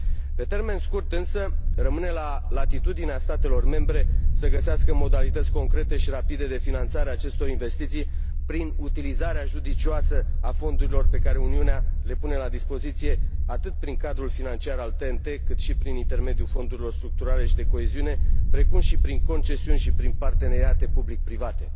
Pe termen scurt, însă, rămâne la latitudinea statelor membre să găsească modalități concrete și rapide de finanțare a acestor investiții prin utilizarea judicioasă a fondurilor pe care Uniunea le pune la dispoziție, atât prin cadrul financiar al TEN T, cât și prin intermediul fondurilor structurale și de coeziune, precum și prin concesiuni și prin parteneriate public private.